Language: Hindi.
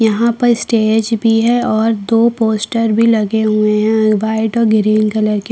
यहाँ पर स्टेज भी है और दो पोस्टर भी लगे हुए हैं व्हाइट और ग्रीन कलर के --